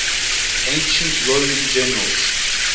ancient roman generals